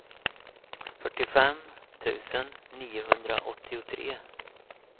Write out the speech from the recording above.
fyrtiofem tusen niohundraåttiotre